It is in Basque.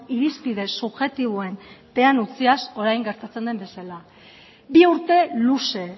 irizpide subjektiboen pean utziaz orain gertatzen den bezala bi urte luze